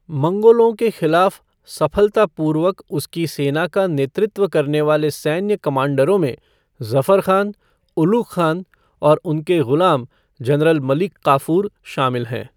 मंगोलों के खिलाफ़ सफलतापूर्वक उसकी सेना का नेतृत्व करने वाले सैन्य कमांडरों में ज़फ़र खान, उलुग खान और उनके गुलाम जनरल मलिक काफ़ूर शामिल हैं।